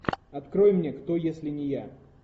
открой мне кто если не я